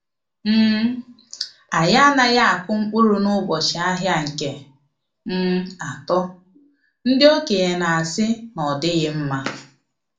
um Anyị anaghị akụ mkpụrụ n’ụbọchị ahịa nke um atọ ndi okenye na-asị na ọdighi mma.